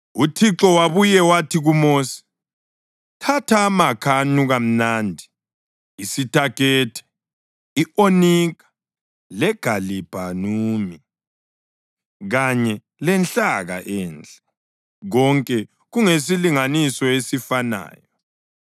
UThixo wabuye wathi kuMosi, “Thatha amakha anuka mnandi, isitakete, i-onika legalibhanumi kanye lenhlaka enhle, konke kungesilinganiso esifanayo,